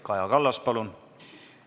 Kaja Kallas, palun!